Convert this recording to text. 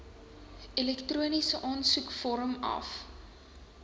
elektroniese aansoekvorm af